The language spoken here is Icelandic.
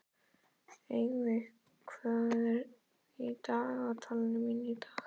Eyveig, hvað er í dagatalinu mínu í dag?